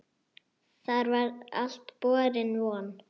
Það var alltaf borin von